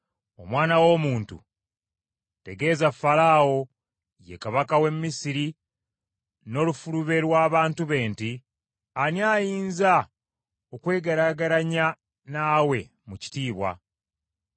“Omwana w’omuntu, tegeeza Falaawo, ye kabaka w’e Misiri n’olufulube lw’abantu be nti, “ ‘Ani ayinza okwegeraageranya naawe mu kitiibwa?